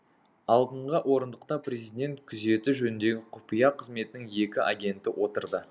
алдыңға орындықта президент күзеті жөніндегі құпия қызметінің екі агенті отырды